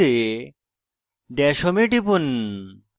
dash home এ টিপুন